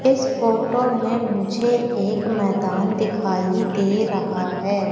इस फोटो में मुझे एक मैदान दिखाई दे रहा हैं।